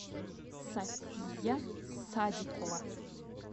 софия садикова